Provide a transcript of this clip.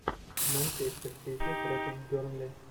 манчестер сити против бернли